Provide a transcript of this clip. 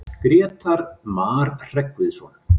Grétar Mar Hreggviðsson.